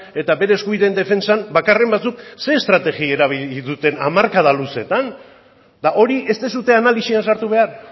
eta bere eskubideen defentsan bakarren batzuk zer estrategi erabili duten hamarkada luzeetan eta hori ez duzue analisian sartu behar